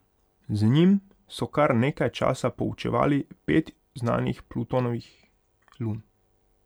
Z njim so kar nekaj časa proučevali pet znanih Plutonovih lun.